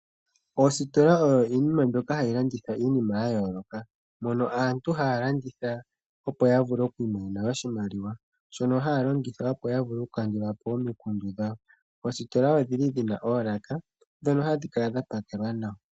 Ositola Odho omahala ngoka haga landitha iinima ya yooloka, mono aantu haa landitha opo ya vule okwiimonene oshimaliwa shono haa longitha opo ya vule okukandula po omikundu dhawo, oositola odhili dhina oolaka dhono hadhi kala dha pakelwa nawa.